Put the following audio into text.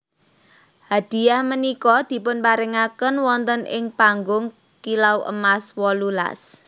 Hadiyah punika dipunparingaken wonten ing panggung Kilau Emas wolulas